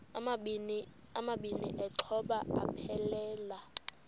amabini exhobe aphelela